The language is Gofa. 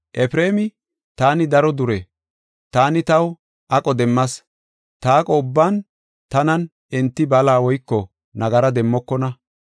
Efreemi, “Taani daro dure; taani taw aqo demmas. Ta aqo ubban tanan enti bala woyko nagara demmokona.